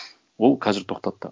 ол қазір тоқтатты